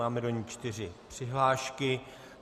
Mám do ní čtyři přihlášky.